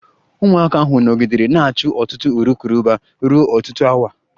Ụmụaka ahụ nọgidere na-achụ otu urukurubụba ruo ọtụtụ awa